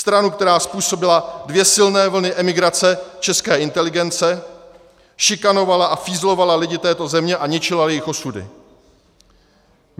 Stranu, která způsobila dvě silné vlny emigrace české inteligence, šikanovala a fízlovala lidi této země a ničila jejich osudy.